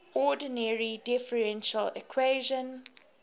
ordinary differential equation